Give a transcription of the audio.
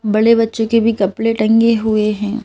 बड़े बच्चों के भी कपड़े टंगे हुए हैं।